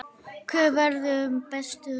Hver verður bestur?